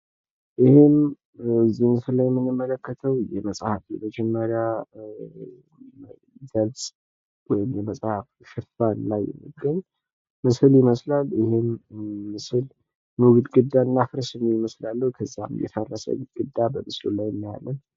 ይህ ምስል የሚያሳየው የመጽሐፍ የመጀምሪያ ገጽ ወይም ሽፋን የሚያሳይ ሲሆን "ኑ:- ግድግዳ እናፍርስ" የሚል ጽሑፍ አለው እንዲሁም በሽፋኑ ላይ የፈረሰ ግድግዳ ይታያል።